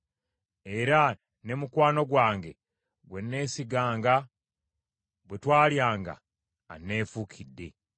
Era ne mukwano gwange gwe neesiganga bwe twalyanga, anneefuukidde.